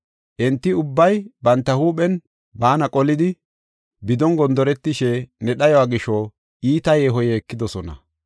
Enti ubbay banta huuphen baana qolidi, bidon gondoretishe, ne dhayuwa gisho iita yeeho yeekidosona.